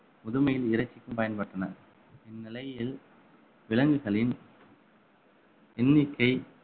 முதுமையின் இறைச்சிக்கும் பயன்பட்டன இந்நிலையில் விலங்குகளின் எண்ணிக்கை